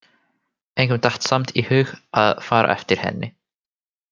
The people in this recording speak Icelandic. Engum datt samt í hug að fara eftir henni.